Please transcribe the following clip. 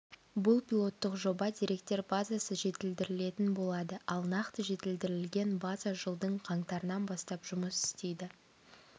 бұл пилоттық жоба деректер базасы жетілдірілетін болады ал нақты жетілдірілген база жылдың қаңтарынан бастап жұмыс істейді